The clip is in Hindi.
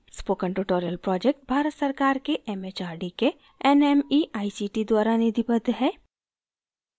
spoken tutorial project भारत सरकार के mhrd के nmeict द्वारा निधिबद्ध है